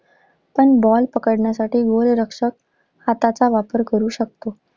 पण ball पकडण्यासाठी गोलरक्षक हाताचा वापर करु शकतो.